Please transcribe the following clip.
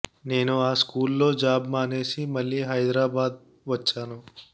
నేను ఆ స్కూల్ లో జాబ్ మానేసి మళ్లీ హైదరాబాద్ వచ్చాను